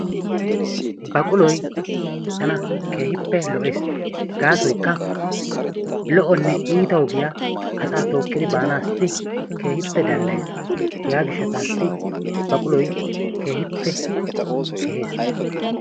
Baquloy tana keehippe lo"es gaasoykka lo"onne iita ogiya asaa tookkidi baanaassi keehippe danddayes hegaa gishshataassii hegaa gishshataassi baquloyi keehipoe kehees.